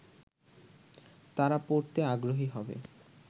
তারা পড়েতে আগ্রহী হবে